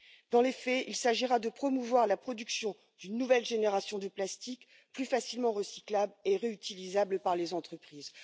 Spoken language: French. Dans les faits, il s'agira de promouvoir la production d'une nouvelle génération de plastique plus facilement recyclable et réutilisable par les entreprises.